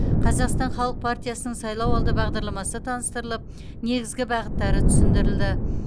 қазақстан халық партиясының сайлауалды бағдарламасы таныстырылып негізгі бағыттары түсіндірілді